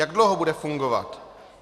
Jak dlouho bude fungovat?